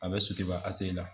A bɛ Sotiba ACI la.